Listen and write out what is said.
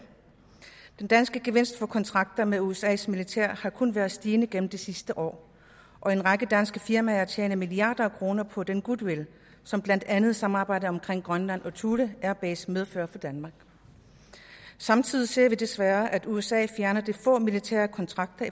den danske gevinst ved kontrakter med usas militær har kun været stigende gennem de sidste år og en række danske firmaer tjener milliarder af kroner på den goodwill som blandt andet samarbejdet omkring grønland og thule air base medfører for danmark samtidig ser vi desværre at usa fjerner de få militære kontrakter